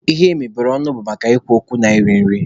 Ihe mebere ọnụ maka ikwu okwu na iri nri